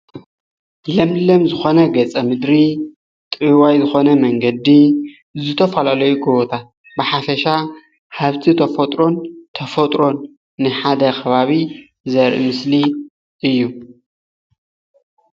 ለምለም ዝኮነ ገፀ ምድሪ ጥውይዋይ ዝኮነ መንገዲ ዝተፈላለዩ ጎቦታት ብሓፈሻ ሃፍቲ ተፈጥሮን ተፈጥሮ ንሓደ ከባቢ ዘርኢ ምስሊ እዩ፡፡